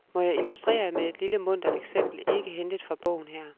Må jeg illustrere med et lille muntert eksempel, ikke hentet fra bogen her.